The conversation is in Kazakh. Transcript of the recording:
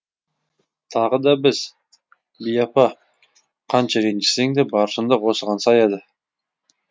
тағы да біз би апа қанша ренжісең де бар шындық осыған саяды